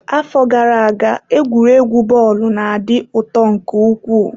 Afọ gara aga egwuregwu bọọlụ na-adị ụtọ nke ukwuu.